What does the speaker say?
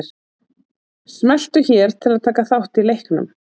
Smelltu hér til að taka þátt í leiknum